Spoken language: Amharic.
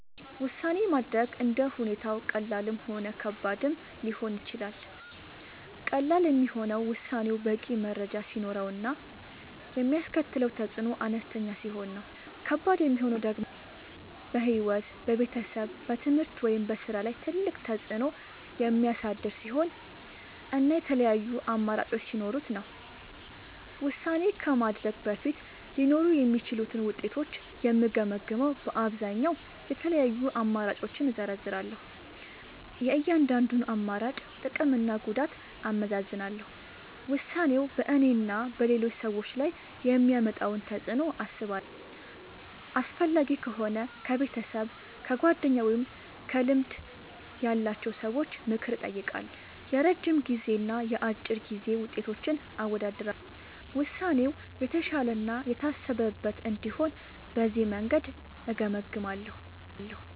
ውሳኔ ማድረግ እንደ ሁኔታው ቀላልም ሆነ ከባድም ሊሆን ይችላል። ቀላል የሚሆነው ውሳኔው በቂ መረጃ ሲኖረው እና የሚያስከትለው ተፅዕኖ አነስተኛ ሲሆን ነው። ከባድ የሚሆነው ደግሞ በሕይወት፣ በቤተሰብ፣ በትምህርት ወይም በሥራ ላይ ትልቅ ተፅዕኖ የሚያሳድር ሲሆን እና የተለያዩ አማራጮች ሲኖሩት ነው። ውሳኔ ከማድረግ በፊት ሊኖሩ የሚችሉትን ውጤቶች የምገመግመዉ በአብዛኛዉ፦ የተለያዩ አማራጮችን እዘረዝራለሁ። የእያንዳንዱን አማራጭ ጥቅምና ጉዳት አመዛዝናለሁ። ውሳኔው በእኔና በሌሎች ሰዎች ላይ የሚያመጣውን ተፅዕኖ አስባለሁ። አስፈላጊ ከሆነ ከቤተሰብ፣ ከጓደኞች ወይም ከልምድ ያላቸው ሰዎች ምክር እጠይቃለሁ። የረጅም ጊዜና የአጭር ጊዜ ውጤቶችን አወዳድራለሁ። ውሳኔው የተሻለ እና የታሰበበት እንዲሆን በዚህ መንገድ እገመግማለሁ።